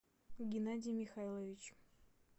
геннадий михайлович